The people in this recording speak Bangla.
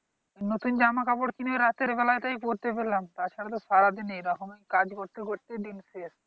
নতুন জামা-কাপড় কিনে রাতের বেলায় তেই পড়তে পেলাম। তাছাড়া তো সারাদিন এরকম কাজ করতে হচ্ছে নিজেদের,